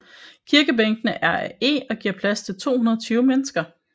Kirkebænkene er af eg og giver plads til 220 mennesker